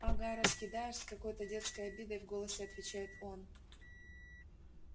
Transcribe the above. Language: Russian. ага раскидаешь с какой-то детской обидой в голосе отвечает он